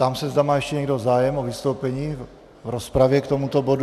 Ptám se, zda má ještě někdo zájem o vystoupení v rozpravě k tomuto bodu.